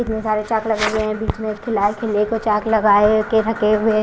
इतने सारे चाक लगे हुए हैं बीच में एक खिला है खिल्ले को चाक लगाए के रखे हुए--